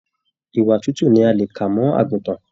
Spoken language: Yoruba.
Ìwà tútù ní a lè kà mọ àgùntàn.